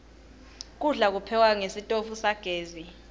kudla kuphekwe ngesitfu sagezi